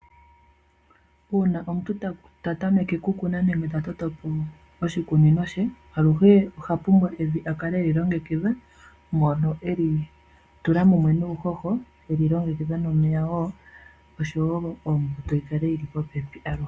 Uuna omuntu ta tameke okukuna nenge ta toto po oshikunino she, aluhe oha pumbwa evi a kale e li longekitha. Mono e li tula mumwe nuuhoho, e li longekidha nomeya wo, oshowo ombuto yi kale yi li popepi aluhe.